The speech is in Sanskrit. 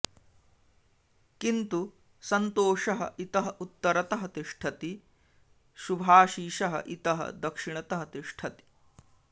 किन्तु सन्तोषः इतः उत्तरतः तिष्ठति सुभाशिसः इतः दक्षिणतः तिष्ठति